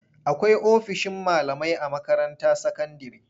Akwai ofishin malamai a makaranta sakandire.